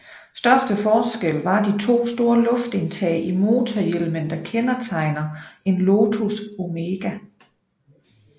Største forskel var de 2 store luftindtag i motorhjelmen der kendetegner en Lotus Omega